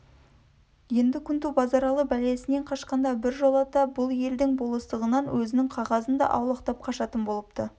енді күнту базаралы бәлесінен қашқанда біржолата бұл елдің болыс-тығынан өзінің қағазын да аулақтап қашатын болыпты